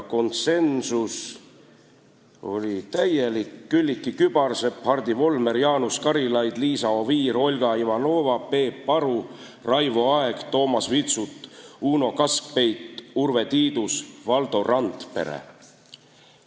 Konsensus oli täielik: Külliki Kübarsepp, Hardi Volmer, Jaanus Karilaid, Liisa Oviir, Olga Ivanova, Peep Aru, Raivo Aeg, Toomas Vitsut, Uno Kaskpeit, Urve Tiidus ja Valdo Randpere.